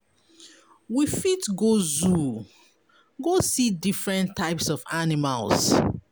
We fit go zoo go see different types of animals